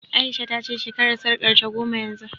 A'isha ta ce shekarar sarƙarta goma yanzu